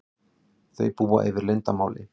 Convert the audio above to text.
Þau búa yfir leyndarmáli.